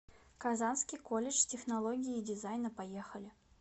казанский колледж технологии и дизайна поехали